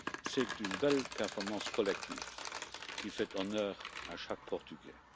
C'est une belle performance collective qui fait honneur à chaque Portugais.